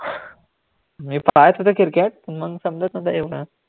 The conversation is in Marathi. मी पाहत होतो cricket मंग समजतं नव्हतं एवढं